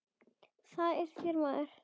Hvað er að þér maður?